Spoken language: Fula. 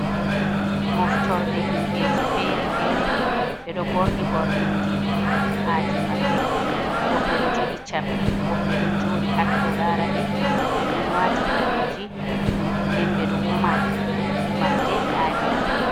Moftorde himbeji fere-fere. Ɓe ɗo ɓorni ɓornoɗi aadi maɓɓe. Woɓɓe do jogi chabbi woɓɓe don jodi hatto laraɓe. Ɓe ɗon wati kareji nden ɓeɗo woma, womarde aadi man.